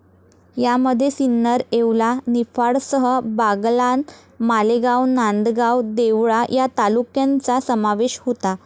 यामध्ये सिन्नर, येवला, निफाडसह बागलाण, मालेगाव, नांदगाव, देवळा या तालुक्यांचा समावेश होता.